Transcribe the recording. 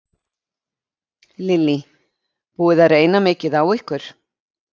Lillý: Búið að reyna mikið á ykkur?